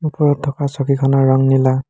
ওপৰত থকা ছবিখনৰ ৰং নীলা।